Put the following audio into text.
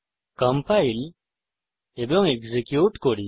compile এবং execute করি